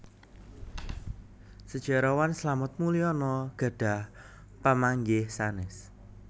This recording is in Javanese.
Sejarawan Slamet Muljana gadhah pamanggih sanes